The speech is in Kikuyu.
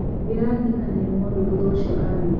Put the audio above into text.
ndĩraririkanire mothe thutha ũcio athiĩ